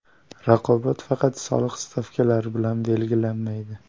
Raqobat faqat soliq stavkalari bilan belgilanmaydi.